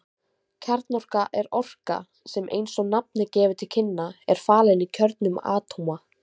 Kjarnorka er orka sem eins og nafnið gefur til kynna er falin í kjörnum atóma.